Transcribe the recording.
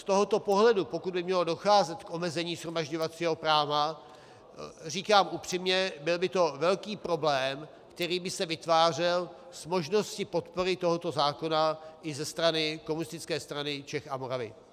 Z tohoto pohledu, pokud by mělo docházet k omezení shromažďovacího práva, říkám upřímně, byl by to velký problém, který by se vytvářel, s možností podpory tohoto zákona i ze strany Komunistické strany Čech a Moravy.